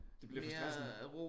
Det bliver for stressende